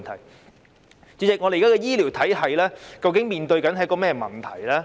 代理主席，香港現時的醫療體系究竟面對甚麼問題？